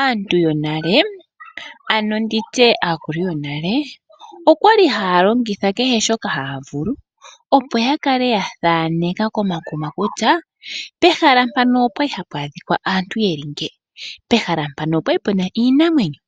Aantu yonale amo nditye aakulu yonale okwa ki haya longitha kehe shoka haya vulu, opo ya kale ya thaneka komakuma kutya pehala mpano opwa li hapu adhika yeli ngino, pehala mpaka opwa li puna iinamwenyo.